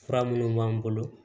Fura minnu b'an bolo